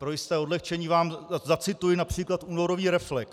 Pro jisté odlehčení vám zacituji například únorový Reflex.